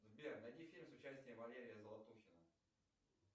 сбер найди фильм с участием валерия золотухина